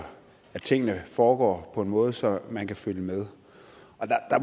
at tingene foregår på en måde så man kan følge med og der